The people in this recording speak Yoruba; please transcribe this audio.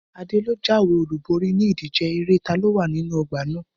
Adé lo jáwé olúborí ni ìdíje eré taló wà nínú ọgbà náà